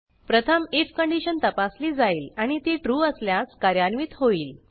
प्रथम IF condition तपासली जाईल आणि ती ट्रू असल्यास कार्यान्वित होईल